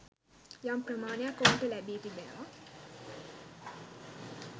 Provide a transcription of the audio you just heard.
යම් ප්‍රමාණයක් ඔවුන්ට ලැබි තියෙනවා.